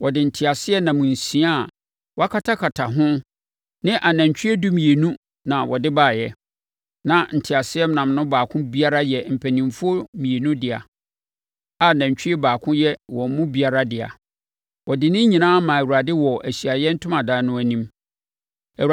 Wɔde nteaseɛnam nsia a wɔakatakata ho ne anantwie dumienu na wɔde baeɛ. Na nteaseɛnam no baako biara yɛ mpanimfoɔ mmienu dea, a nantwie baako yɛ wɔn mu biara dea. Wɔde ne nyinaa maa Awurade wɔ Ahyiaeɛ Ntomadan no anim.